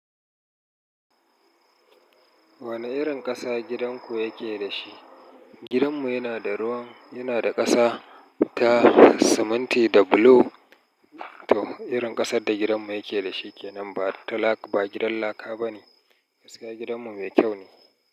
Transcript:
Wane irin ƙasa gidanku yake da shi? Gidanmu yana da ruwan, yana da ƙasa ta siminti da bulo. To, irin ƙasar da gidanmu yake da shi ke nan ba ta laka, ba gidan laka bane. Gaskiya gidanmu mai kyau ne.